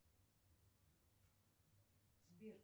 сбер